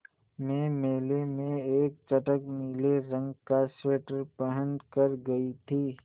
मैं मेले में एक चटख नीले रंग का स्वेटर पहन कर गयी थी